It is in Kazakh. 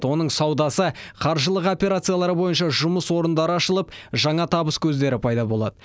оның саудасы қаржылық операциялары бойынша жұмыс орындары ашылып жаңа табыс көздері пайда болады